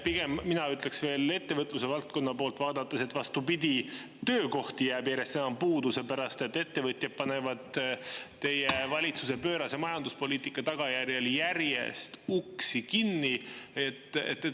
Mina pigem ütleksin veel ettevõtlusvaldkonna poolt vaadates, et vastupidi, töökohti jääb järjest enam puudu, sest ettevõtjad panevad teie valitsuse pöörase majanduspoliitika tagajärjel järjest uksi kinni.